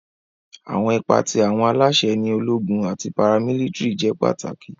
Awọn ipa ti awọn alaṣẹ ni ologun ati paramilitiri jẹ pataki.